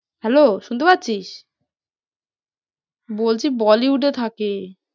hello শুনতে পাচ্ছিস? বলছি bollywood এ থাকে।